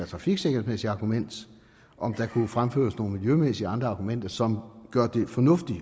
trafiksikkerhedsargument og om der kan fremføres nogle miljømæssige og andre argumenter som gør det fornuftigt